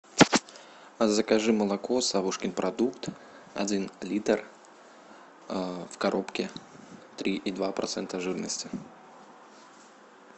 закажи молоко савушкин продукт один литр в коробке три и два процента жирности